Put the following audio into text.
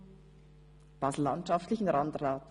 – im basellandschaftlichen Landrat.